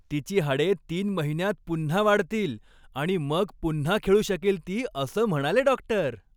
तिची हाडे तीन महिन्यांत पुन्हा वाढतील आणि मग पुन्हा खेळू शकेल ती, असं म्हणाले डॉक्टर.